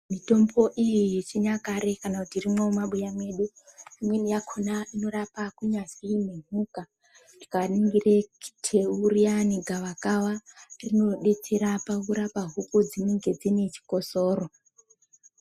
Mitombo iyi yechinyakare irimo mumabuya mwedu, imweni yakhona inorapa kunyazwi nemhuka. Tikaringire teu riyani, gavakava rinodetsera pakurapa huku dzinenge dzine chikosoro.